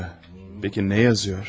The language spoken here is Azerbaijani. Yə, bəki nə yazır?